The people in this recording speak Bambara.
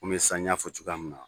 komi sisan y'a fɔ cogoya min na